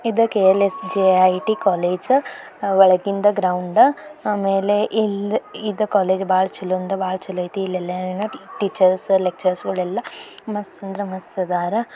ಇದು ಕೊಲೆಜ್ ಆಹ್ಹ್ ಒಳಗಿನಿಂದ ಗ್ರೌಂಡ್ ಆಮೇಲೆ ಇದ ಕಾಲೇಜು ಬಾಳ ಅಂದ್ರ್ ಬಾಳ್ ಚುಲೊ ಏತಿ ಇಲ್ಲೇನ್ದ್ರ ಟೀಚರ್ಸ್ ಲೆಚ್ಚರೆರ್ ಗೋಳೆಲ್ಲಾ ಮಸ್ತ್ ಅಂದ್ರ್ ಮಸ್ತ್ ಅದರ.